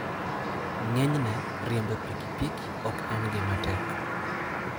Ng'enyne, riembo pikipiki ok en gima tek.